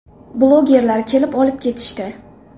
Blogerlar kelib, olib ketishdi.